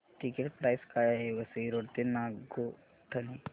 ticket price काय आहे Vasai road ते नागोठणे